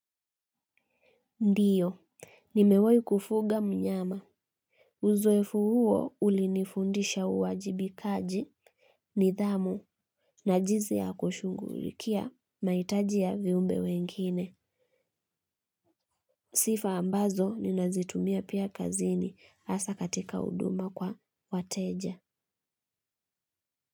Ndiyo nimewai kufuga mnyama uzoefu huo ulinifundisha uwajibikaji nidhamu na jizi ya kushugulikia maitaji ya viumbe wengine sifa ambazo ninazitumia pia kazini asa katika uduma kwa wateja.